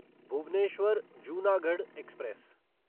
Bhubaneswar Junagadh express